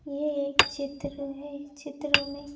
ये एक चित्र है चित्र में--